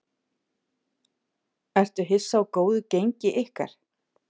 Ertu hissa á góðu gengi ykkar?